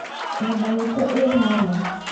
nyũmba itu ĩĩ harĩa